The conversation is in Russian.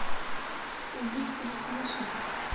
убить пересмешника